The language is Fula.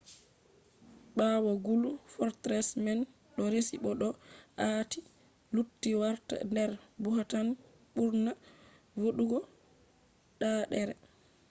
ɓawo gulu fortress man ɗo resi bo ɗo aati lutti warta der bhutan’s ɓurna voɗugo ɗaaɗere